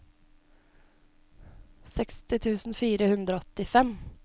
seksti tusen fire hundre og åttifem